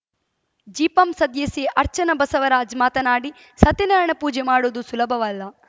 ಜಿಪಂ ಸದಸ್ಯೆ ಅರ್ಚನಾ ಬಸವರಾಜ್‌ ಮಾತನಾಡಿ ಸತ್ಯನಾರಾಯಣ ಪೂಜೆ ಮಾಡುವುದು ಸುಲಭವಲ್ಲ